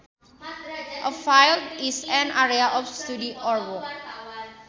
A field is an area of study or work